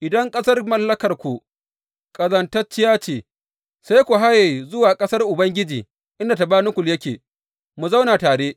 Idan ƙasar mallakarku ƙazantacciya ce, sai ku haye zuwa ƙasar Ubangiji, inda tabanakul yake, mu zauna tare.